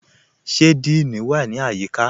Ṣe Díìní wa ni ayíkà?